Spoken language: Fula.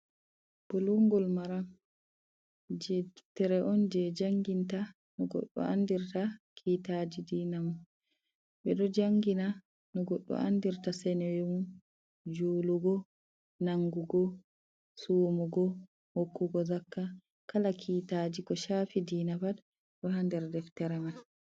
Bulungol maran jey deftere on jey janginta no goɗɗo andirta kiitaji diina mum. Ɓe ɗo janngina no goɗɗo andirta senewe mum, juulugo, nangugo ,sumugo, hokkugo zakka kala kiitaji ko caafi diina pat. Ɗo a nder deftere man.